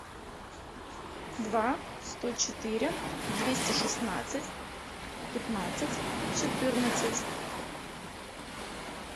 два сто четыре двести шестнадцать пятнадцать четырнадцать